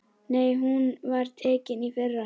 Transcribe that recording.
Nei, hún var tekin í fyrra.